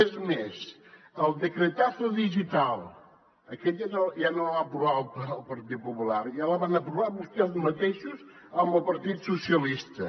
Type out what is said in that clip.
és més el decretazo digital aquest ja no el va aprovar el partit popular ja el van aprovar vostès mateixos amb el partit socialista